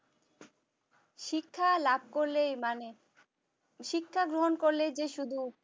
শিক্ষা লাভ করলেই মানে শিক্ষা গ্রহণ করলে যে শুধু